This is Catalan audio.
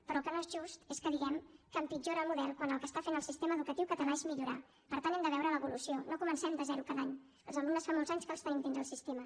però el que no és just és que diguem que empitjora el model quan el que està fent el sistema educatiu català és millorar per tant n’hem de veure l’evolució no comencem de zero cada any els alumnes fa molts anys que els tenim dins del sistema